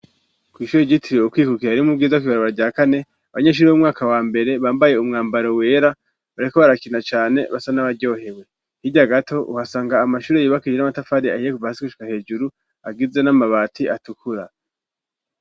kw'ishure ryitiriwe kwikukira ari mu bwiza kwibaraba rya kane abanyeshure b'umwaka wa mbere bambaye umwambaro wera bariko barakina cane basa n'abaryohewe hirya gato uhasanga amashure yubakishijwe n'amatafari ahiye kuva gushika hejuru agizwe n'amabati atukura.